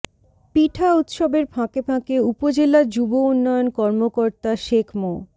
পিঠা উৎসবের ফাঁকে ফাঁকে উপজেলা যুব উন্নয়ন কর্মকর্তা শেখ মো